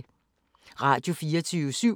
Radio24syv